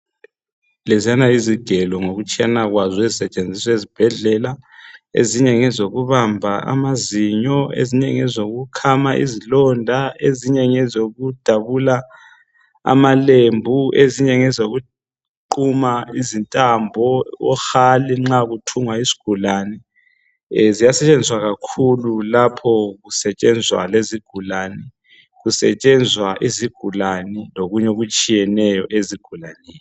Leziyana yizigelo ngokutshiyana kwazo ezi setshenziswa ezibhedlela ezinye ngezokubamba amazinyo ezinye ezokhama izilonda ezinye ezokudabula amalembu ezinye ngezokuquna izintambo ohali nxa kuthungwa isigulane. Ziyasetshenziswa kakhulu lapho kuzigulane kusetshenzwa izigulane lokunye okutshiyeneyo ezigulaneni.